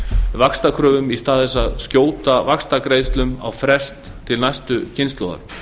vaxtakröfum í stað þess að skjóta vaxtagreiðslum á frest til næstu kynslóðar